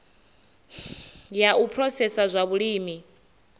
ya u phurosesa zwa vhulimi